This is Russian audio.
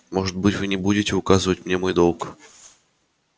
может быть вы не будете указывать мне мой долг